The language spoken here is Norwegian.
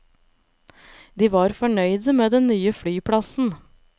De var fornøyde med den nye flyplassen.